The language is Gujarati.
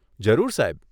જરૂર સાહેબ.